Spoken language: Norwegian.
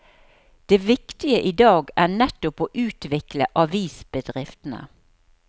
Det viktige i dag er nettopp å utvikle avisbedriftene.